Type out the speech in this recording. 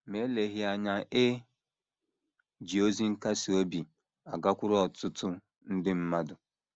Ma eleghị anya, e ji ozi nkasi obi a gakwuru ọtụtụ nde mmadụ.